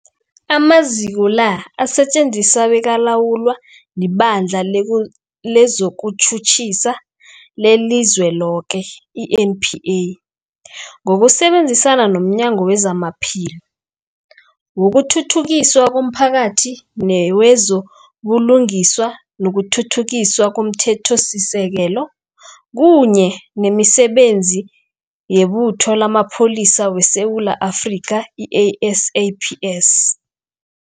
Amaziko la asetjenziswa bekalawulwa liBandla lezokuTjhutjhisa leliZweloke, i-NPA, ngokusebenzisana nomnyango wezamaPhilo, wokuthuthukiswa komphakathi newezo buLungiswa nokuThuthukiswa komThethosisekelo, kunye nemiSebenzi yeButho lamaPholisa weSewula Afrika, i-SAPS.